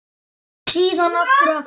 Síðan aftur og aftur.